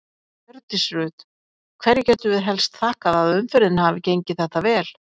Hjördís Rut: Hverju getum við helst þakkað að umferðin hafi gengið þetta vel?